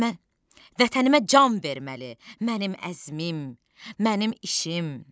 Vətənimə can verməli mənim əzmim, mənim işim.